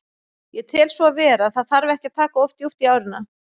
Ég tel svo vera, það þarf ekki að taka of djúpt í árina.